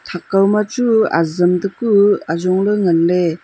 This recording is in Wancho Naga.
thak kaw ma chu azam te ku ajong ley ngan ley.